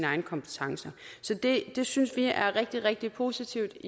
egne kompetencer så det det synes vi er rigtig rigtig positivt